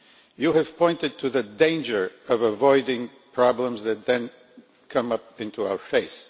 You have pointed to the danger of avoiding problems that then come up into our face.